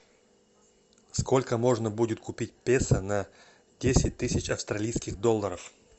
сколько можно будет купить песо на десять тысяч австралийских долларов